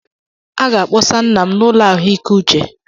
A ga-akpọsa nna m n'ụlọ ahụike uche